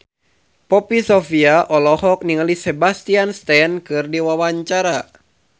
Poppy Sovia olohok ningali Sebastian Stan keur diwawancara